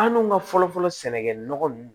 An dun ka fɔlɔ fɔlɔ sɛnɛkɛ nɔgɔ ninnu